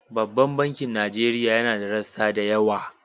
Babban bankin Nigeria yana da rassa da yawa.